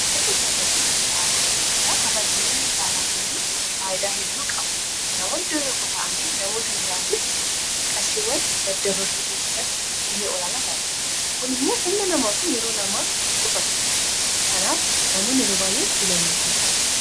maatiin kafaltii dijitaalaa eegaa kafaltiiwwan dijitaalaa kuni faayidaa hedduu qabu namoonni iddoo tokkoo taa'anii namoota biraatiif qarshiiwwan daddabarsuu keessatti ga'ee olaanaa taphata. kun immoo humna namaafi yeroo namaa qusata. kanaaf namoonni yeroo baay'ee fiilannoo isaanii taasisu.